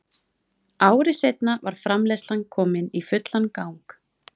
Ári seinna var framleiðslan komin í fullan gang.